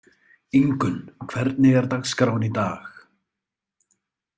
Ingunn, hvernig er dagskráin í dag?